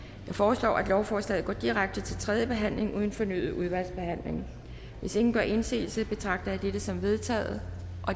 jeg foreslår at lovforslaget går direkte til tredje behandling uden fornyet udvalgsbehandling hvis ingen gør indsigelse betragter jeg dette som vedtaget